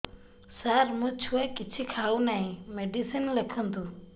ସାର ମୋ ଛୁଆ କିଛି ଖାଉ ନାହିଁ ମେଡିସିନ ଲେଖନ୍ତୁ